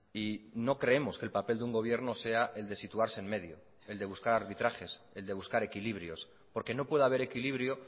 y no creemos que el papel de un gobierno sea el de situarse en medio el de buscar arbitrajes el de buscar equilibrios porque no puede haber equilibrio